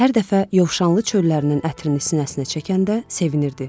Hər dəfə yovşanlı çöllərinin ətrini sinəsinə çəkəndə sevinirdi.